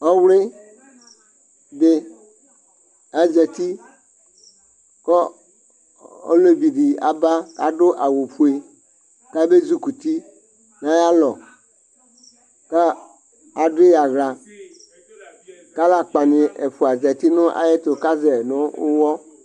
Ɔwlɩ dɩ azati kɔ olevi dɩ aba kadʋ aw fue ,kabe zikuti nayalɔ; ka adʋ yɩ aɣlaKalakpanɩ ɛfʋa zati nʋ ayɛtʋ kazɛ nʋ ʋwɔ